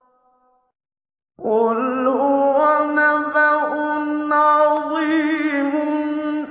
قُلْ هُوَ نَبَأٌ عَظِيمٌ